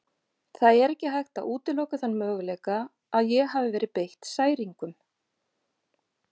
Það er ekki hægt að útiloka þann möguleika að ég hafi verið beitt særingum.